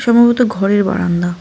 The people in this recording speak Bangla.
সম্ভবত ঘরের বারান্দা।